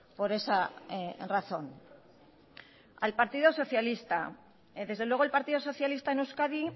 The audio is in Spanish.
por esa razón al partido socialista desde luego el partido socialista en euskadi